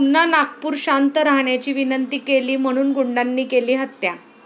पुन्हा नागपूर!, शांत राहण्याची विनंती केली म्हणून गुंडांनी केली हत्या